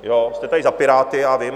Jste tady za Piráty, já vím.